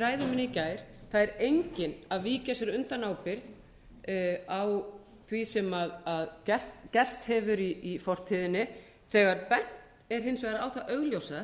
gær það er enginn að víkja sér innan ábyrgð á því sem gerst hefur í fortíðinni þegar bent er hins vegar á það augljósa